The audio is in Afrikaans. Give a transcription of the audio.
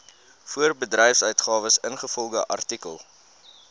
voorbedryfsuitgawes ingevolge artikel